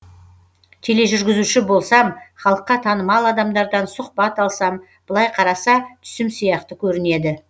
тележүргізуші болсам халыққа танымал адамдардан сұхбат алсам былай қараса түсім сияқты көрінеді